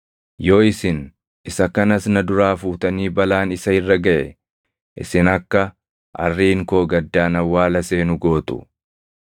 Yoo isin isa kanas na duraa fuutanii balaan isa irra gaʼe, isin akka arriin koo gaddaan awwaala seenu gootu.’